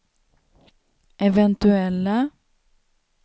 eventuella